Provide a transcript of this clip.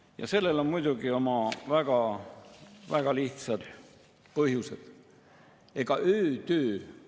Mina pean ütlema, et selline protseduur, mis on täna selle erakorralise istungjärguga siin kaasnenud, on minu jaoks võõristav ja selgelt tekitab küsimuse, kes sellise ööistungite korra välja on mõelnud.